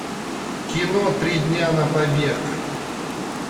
кино три дня на побег